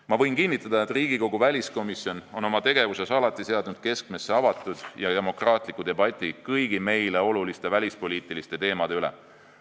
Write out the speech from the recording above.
Ma võin kinnitada, et Riigikogu väliskomisjon on oma tegevuses alati seadnud keskmesse avatud ja demokraatliku debati kõigi meile oluliste välispoliitiliste teemade üle.